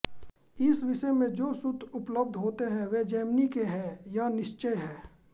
इस विषय में जो सूत्र उपलब्ध होते हैं वे जैमिनि के हैं यह निश्चय है